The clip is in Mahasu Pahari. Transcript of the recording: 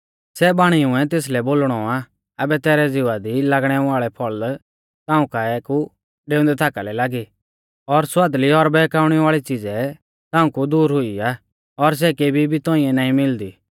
सै बाणीउऐ तेसलै बोलणौ आ आबै तैरै ज़िवा दी लागणै वाल़ै फल़ ताऊं काऐ कु डेउंदै थाका लै लागी और स्वादली और बहकाउणै वाल़ी च़िज़ै ताऊं कु दूर हुई आ और सै केबी भी तौंइऐ नाईं मिलदी